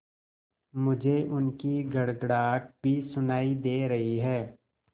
मुझे उनकी गड़गड़ाहट भी सुनाई दे रही है